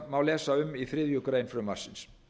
má lesa um í þriðju greinar frumvarpsins